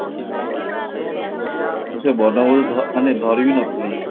ମୁଁ ସେ ବର୍ଣବୋଧ ମାନେ ଧରି ବି ନଥିଲି